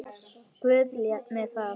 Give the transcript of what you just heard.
Guð lét mig þar.